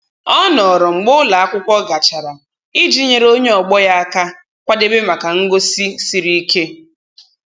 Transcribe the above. Ọ nọrọ mgbe ụlọ akwụkwọ gachara iji nyere onye ọgbọ ya aka kwadebe maka ngosi siri ike.